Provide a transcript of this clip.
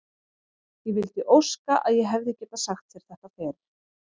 Ég vildi óska að ég hefði getað sagt þér þetta fyrr.